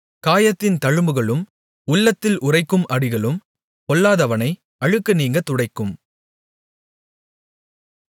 காயத்தின் தழும்புகளும் உள்ளத்தில் உறைக்கும் அடிகளும் பொல்லாதவனை அழுக்கு நீங்கத் துடைக்கும்